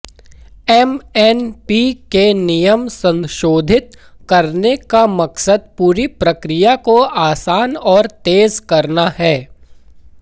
MNP के नियम संशोधित करने का मकसद पूरी प्रक्रिया को आसान और तेज करना है